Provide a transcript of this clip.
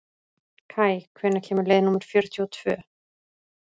Kaj, hvenær kemur leið númer fjörutíu og tvö?